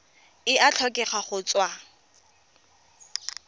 e a tlhokega go tswa